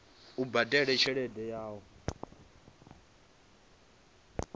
u badela tshelede ya u